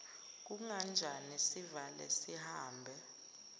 kunganjani sivale sihambe